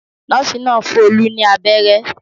Nọ́ọ́sì náà fún Olú ní abẹ́rẹ́.